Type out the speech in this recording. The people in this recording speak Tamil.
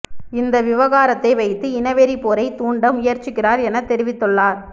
இந்த விவகாரத்தை வைத்து இனவெறி போரை தூண்ட முயற்சிக்கிறார் என தெரிவித்துள்ளார்